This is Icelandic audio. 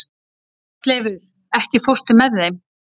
Bjarnleifur, ekki fórstu með þeim?